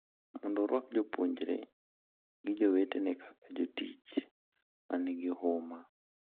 Mondo orwak jopuonjre Gi jowetene kaka jotich ma nigi huma.